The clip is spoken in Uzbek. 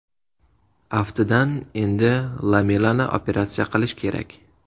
Aftidan, endi Lamelani operatsiya qilish kerak.